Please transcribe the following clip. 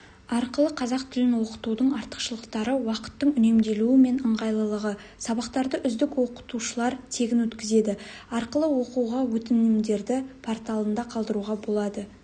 арқылы қазақ тілін оқытудың артықшылықтары уақыттың үнемделуі мен ыңғайлылығы сабақтарды үздік оқытушылар тегін өткізеді арқылы оқуға өтінімдерді порталында қалдыруға болады